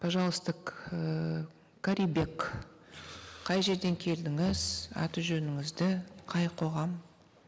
пожалуйста карибек қай жерден келдіңіз аты жөніңізді қай қоғам